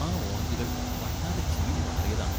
ആ ഓറഞ്ചുകൾ വല്ലാതെ ചീഞ്ഞു നാറിയതാണ്.